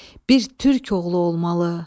Bir türk oğlu olmalı.